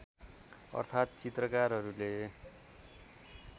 अर्थात् चित्रकारहरूले